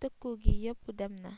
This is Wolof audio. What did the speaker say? tëkku gi yepp dem na